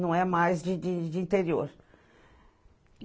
Não é mais de de de interior.